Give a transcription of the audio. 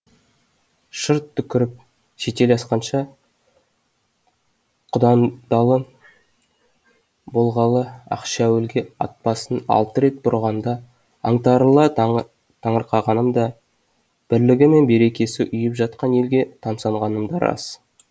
шырт түкіріп шетел асқанша құдандалы болғалы ақшәуліге атбасын алты рет бұрғанда аңтарыла таңырқағаным да бірлігі мен берекесі ұйып жатқан елге тамсанғаным да рас